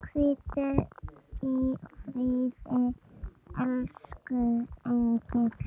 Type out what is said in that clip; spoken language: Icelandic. Hvíldu í friði, elsku engill.